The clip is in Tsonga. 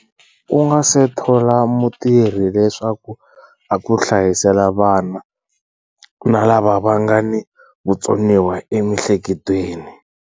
U nga se thola mutirhi leswaku a ku hlayisela vana na lava nga ni vutsoniwa emihleketweni.